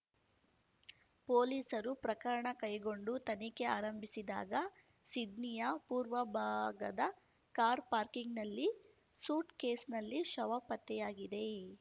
ಪೊಲೀಸರು ಪ್ರಕರಣ ಕೈಗೊಂಡು ತನಿಖೆ ಆರಂಭಿಸಿದಾಗ ಸಿಡ್ನಿಯ ಪೂರ್ವಭಾಗದ ಕಾರ್ ಪಾರ್ಕಿಂಗ್‌ನಲ್ಲಿ ಸೂಟ್‌ಕೇಸ್‌ನಲ್ಲಿ ಶವ ಪತ್ತೆಯಾಗಿದೆ